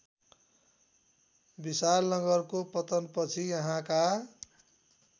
विशालनगरको पतनपछि यहाँका